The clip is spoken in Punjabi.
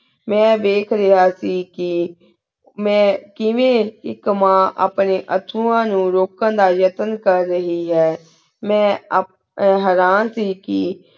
ਮੈਂ ਵੇਖ ਰਿਹਾ ਸੀ ਕੀ ਮੈਂ ਕਿਵ੍ਯਨ ਏਕ ਮਾਨ ਅਪਨ੍ਯਨ ਅਥੁਵਾ ਨੂ ਦਾ ਯਾਤੇੰ ਕਰ ਰਹੀ ਹੈਂ ਮੈਂ ਹਿਰਨ ਸੀ ਕੀ